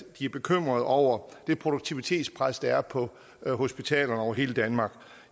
de bekymret over det produktivitetspres der er på hospitalerne over hele danmark at